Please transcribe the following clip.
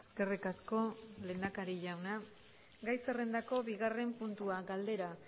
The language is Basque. eskerrik asko lehendakari jauna gai zerrendako bigarren puntua galdera